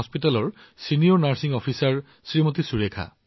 সুৰেখা জী কেচি সাধাৰণ চিকিৎসালয়ৰ জ্যেষ্ঠ নাৰ্চিং বিষয়া